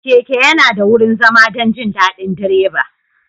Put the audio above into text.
Keke yana da wurin zama don jin daɗin direba.